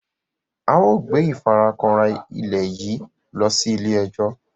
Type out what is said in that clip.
ao gbé ìfarakanra ilẹ yí ló sì ile-ejo.